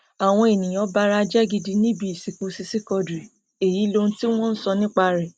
àwọn èèyàn bara jẹ gidigidi níbi ìsìnkú sisi quadri èyí lohun tí wọn sọ nípa rẹ